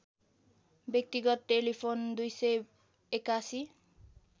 व्यक्तिगत टेलिफोन २८१